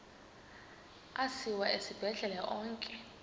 asiwa esibhedlele onke